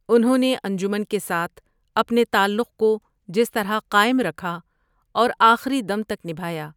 انہوں نے انجمن کے ساتھ اپنے تعلق کو جس طرح قائم رکھا اور آخری دم تک نبھایا۔